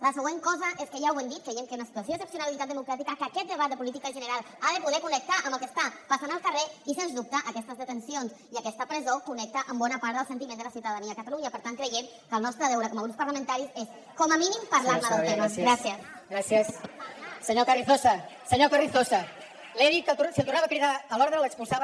la següent cosa és que ja ho hem dit creiem que hi ha una situació d’excepcionalitat democràtica que aquest debat de política general ha de poder connectar amb el que està passant al carrer i sens dubte aquestes detencions i aquesta presó connecten amb bona part del sentiment de la ciutadania de catalunya per tant creiem que el nostre deure com a grups parlamentaris és com a mínim parlar ne del tema